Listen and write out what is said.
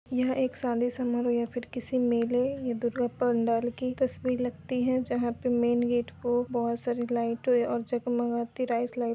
यह एक शादी समारोह या फिर किसी मेले या दुर्गा पंडाल की तस्वीर लगती है जहां पे मेन गेट को बोहोत सारी लइटों य-और जगमगाती राइस लाइट --